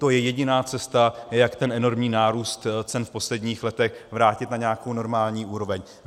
To je jediná cesta, jak ten enormní nárůst cen v posledních letech vrátit na nějakou normální úroveň.